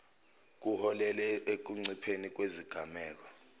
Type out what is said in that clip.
kuholele ekuncipheni kwezigameko